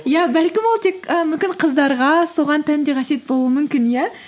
иә бәлкім ол тек і мүмкін қыздарға соған тән де қасиет болуы мүмкін иә